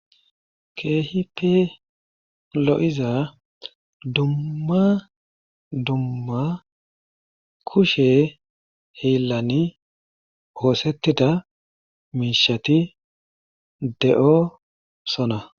Keehippe lo'iza dumma dumma kushe hilan osetida mishati de'osona.